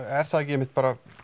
er það ekki einmitt bara